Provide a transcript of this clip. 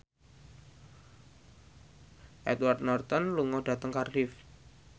Edward Norton lunga dhateng Cardiff